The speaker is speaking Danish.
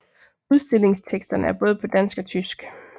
Udstillingsteksterne er både på dansk og tysk